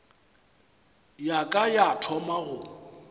ya ka ya thoma go